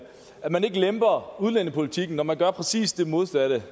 man ikke lemper udlændingepolitikken når man gør præcis det modsatte